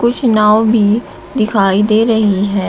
कुछ नाव भी दिखाई दे रही है।